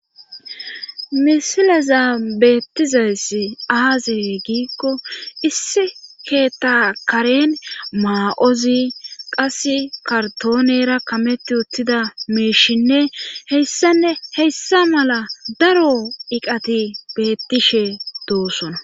Misileza beettizayssi aaze giikko issi keetakaren maa7ozi qas kartoonera kametti uttida meishinne heyssanne heyssa mala daro iqati beettishe doosona.